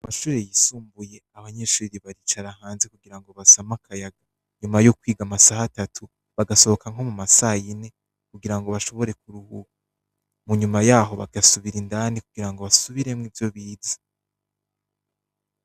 Amashure yisumbuye abanyeshuriri baricara hanze kugira ngo basam' akayaga nyuma y'ukwiga amasaha atatu bagasohoka nko mu masayine kugira ngo bashobore kuruhura mu nyuma yaho bagasubira indani kugira ngo basubiremwo ivyo bize.